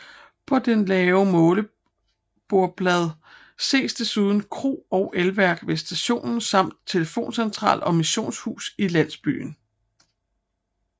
På det lave målebordsblad ses desuden kro og elværk ved stationen samt telefoncentral og missionshus i landsbyen